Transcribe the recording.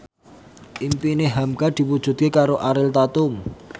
impine hamka diwujudke karo Ariel Tatum